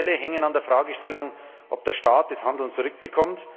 Alle Modelle hängen an der Fragestellung, ob der Staat das Handeln zurückbekommt,